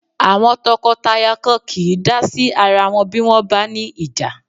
Àwọn tọkọtaya kan kìí dá sí ara wọn bí wọ́n bá ní ìjà.